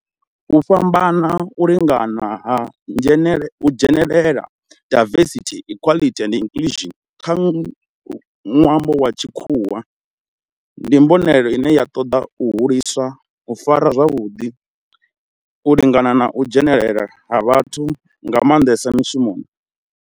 U fhambana, u lingana na u dzhenelela diversity, equity and inclusion nga lwambo lwa tshikhuwa ndi mbonelelo ine ya ṱoḓa u hulisa u farana zwavhudi, u lingana na u dzhenelela ha vhathu nga manḓesa mishumoni.